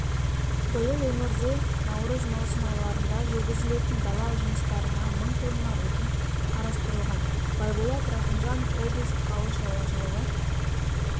биыл өңірде наурыз-маусым айларында жүргізілетін дала жұмыстарына мың тонна отын қарастырылған байболат рақымжанов облыстық ауыл шаруашылығы